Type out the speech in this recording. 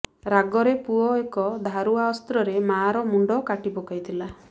ରାଗରେ ପୁଅ ଏକ ଧାରୁଆ ଅସ୍ତ୍ରରେ ମାଆର ମୁଣ୍ଡ କାଟି ପକାଇଥିଲା